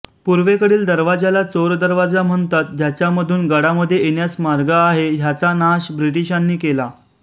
पुर्वेकडील दरवाजाला चोर दरवाजा म्हणतात ज्याच्यामधून गडामध्ये येण्यास मार्ग आहे ह्याचा नाश ब्रिटिशांनी केला